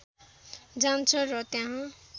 जान्छ र त्यहाँ